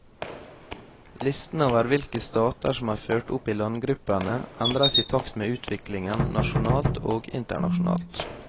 Listen over hvilke stater som er ført opp i landgruppene, endres i takt med utviklingen nasjonalt og internasjonalt.